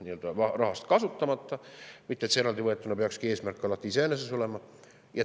muidugi, et see peakski eraldi võetuna alati eesmärk iseeneses olema.